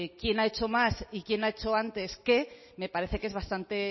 quién ha hecho más y quién ha hecho antes qué me parece que es bastante